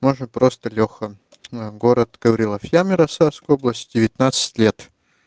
можно просто лёха город гаврилов яс ярославской области девятнадцать лет